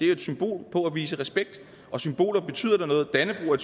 jo et symbol på at vise respekt og symboler betyder da noget dannebrog er